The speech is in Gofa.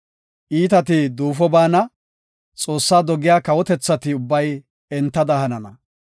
Iitati duufo baana; Xoossaa dogiya kawotethati ubbay entada hanana.